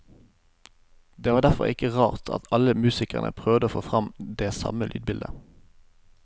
Det var derfor ikke rart at alle musikerne prøvde å få frem det samme lydbildet.